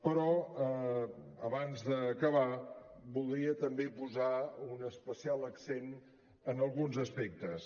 però abans d’acabar voldria també posar un especial accent en alguns aspectes